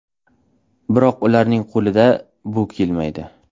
Biroq ularning qo‘lidan bu kelmaydi.